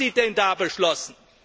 Was haben Sie denn da beschlossen?